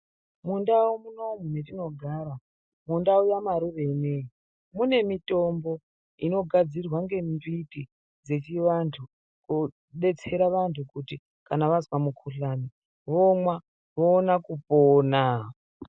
Mundau munomu metinogara, mundau yamarure ineyi, mune mitombo inogadzirwa ngembiti dzechivantu, koodetsera vantu kuti ,kana vazwa mukhuhlani ,vomwa ,voona kuponaa.